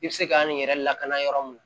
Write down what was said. I bɛ se k'an nin yɛrɛ lakana yɔrɔ min